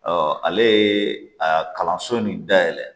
ale ye a kalanso nin dayɛlɛ